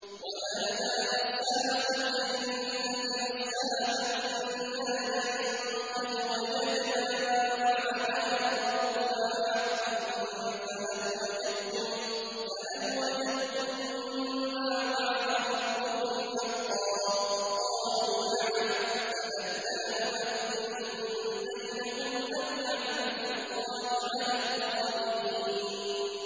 وَنَادَىٰ أَصْحَابُ الْجَنَّةِ أَصْحَابَ النَّارِ أَن قَدْ وَجَدْنَا مَا وَعَدَنَا رَبُّنَا حَقًّا فَهَلْ وَجَدتُّم مَّا وَعَدَ رَبُّكُمْ حَقًّا ۖ قَالُوا نَعَمْ ۚ فَأَذَّنَ مُؤَذِّنٌ بَيْنَهُمْ أَن لَّعْنَةُ اللَّهِ عَلَى الظَّالِمِينَ